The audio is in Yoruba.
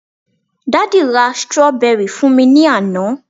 daddy ra strawberry fún mi ni Ana